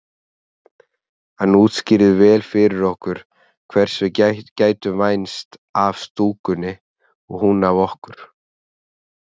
Hann útskýrði vel fyrir okkur hvers við gætum vænst af stúkunni og hún af okkur.